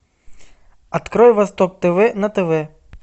открой восток тв на тв